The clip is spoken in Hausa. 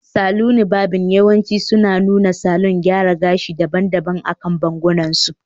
Saloni varbing yawanci suna nuna salon gyara gashi daban-daban akan bangon su